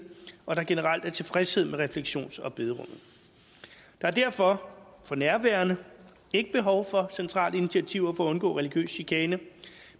og at der generelt er tilfredshed med refleksions og bederummet der er derfor for nærværende ikke behov for centrale initiativer på at undgå religiøs chikane